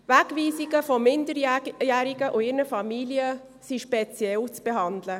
Wegweisungen von Minderjährigen und ihren Familien sind speziell zu behandeln.